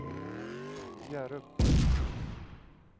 Hjärup